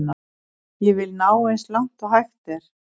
Ég vil ná eins langt og hægt er.